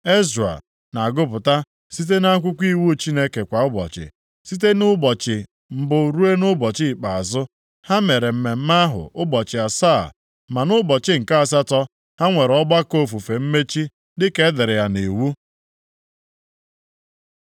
Ezra na-agụpụta site nʼakwụkwọ iwu Chineke kwa ụbọchị, site nʼụbọchị mbụ ruo nʼụbọchị ikpeazụ. Ha mere mmemme ahụ ụbọchị asaa ma nʼụbọchị nke asatọ ha nwere ọgbakọ ofufe mmechi dịka e dere ya nʼiwu.